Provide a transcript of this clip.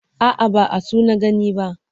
A'a, ba asu na gani ba.